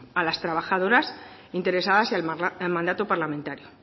a las trabajadoras interesadas y al mandato parlamentario